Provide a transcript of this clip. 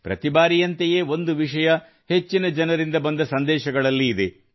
ಪ್ರತಿಬಾರಿಯಂತೆಯೇ ಒಂದು ವಿಷಯ ಹೆಚ್ಚಿನ ಜನರಿಂದ ಬಂದ ಸಂದೇಶಗಳಲ್ಲಿ ಇದೆ